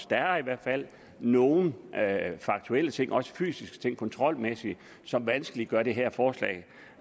der er i hvert fald nogle faktuelle ting også fysiske ting kontrolmæssigt som vanskeliggør det her forslag